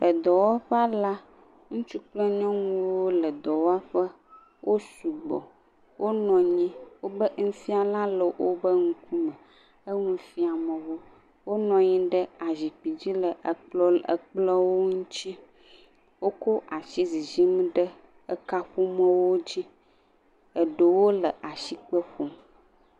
Edɔwɔƒe la, ŋutsu kple nyɔnuwo le dɔwɔƒe. Wo sugbɔ, wonɔ nyi, wobe nufiala le wobe ŋkume. Enu fiam wo. Wonɔ anyi ɖe azikpidzi le ekplɔ̃ ŋu, ekplɔ̃ ŋutsi. Wokɔ ashi zizim ɖe ekaƒomɔ̃wo dzi. Eɖewo le ashikpe ƒom.